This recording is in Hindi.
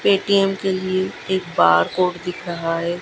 पेटीएम के लिए एक बार कोड दिख रहा है।